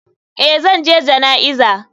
Eh zan je jana'iza.